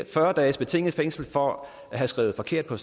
fyrre dages betinget fængsel for at have skrevet forkert på